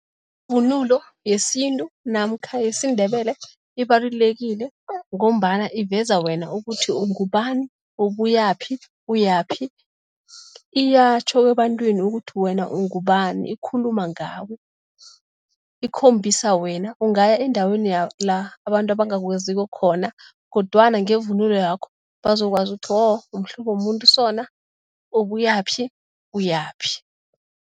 Ivunulo yesintu namkha yesiNdebele ibalululekile ngombana iveza wena ukuthi ungubani, ubuyaphi, uyaphi, iyatjho ebantwini ukuthi wena ungubani, ikhuluma ngawe, ikhombisa wena. Ungaya endaweni la abantu abangakwaziko khona kodwana ngevumulo yakho, bazokwazi ukutjho oh mhlobo womuntu osona, obuyaphi, uyaphi.